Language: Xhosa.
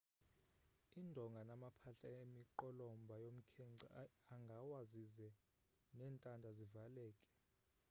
indonga namaphahla emiqolomba yomkhenkce angawa zize nentanda zivaleke